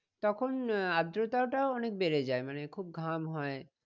তখন আহ আদ্রতাটাও অনেক বেড়ে যায় মানে খুব ঘাম হয়